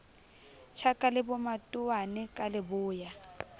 tjhaka le bomatowane ka leboya